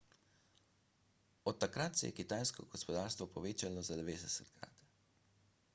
od takrat se je kitajsko gospodarstvo povečalo za 90-krat